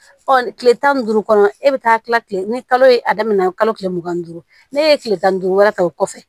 Ɔ kile tan ni duuru kɔnɔ e bɛ taa kila tile ni kalo a daminɛna kalo tile mugan ni duuru n'a ye tile tan ni duuru wɛrɛ ta o kɔfɛ